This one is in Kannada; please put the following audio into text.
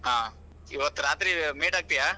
ಹಾ, ಇವತ್ತ ರಾತ್ರಿ meet ಆಗ್ತೀಯಾ?